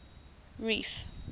reef